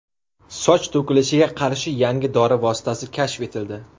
Soch to‘kilishiga qarshi yangi dori vositasi kashf etildi.